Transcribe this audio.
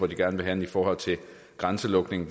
gerne vil hen i forhold til grænselukning